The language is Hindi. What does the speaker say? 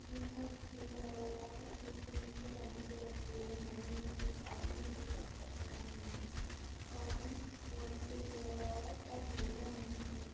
यहां एक पूल बना हुआ है | पूल के नीचे नदी बह रही है नदी में एक आदमी और एक बच्चा खड़ा हुआ है पानी बहुत तेज बह रहा है पर गहरा नहीं है।